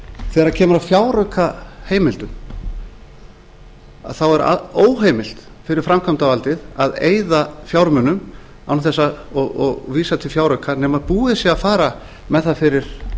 þegar kemur að fjáraukaheimildum þá er óheimilt fyrir framkvæmdarvaldið að eyða fjármunum og vísa til fjárauka nema búið sé að fara með það fyrir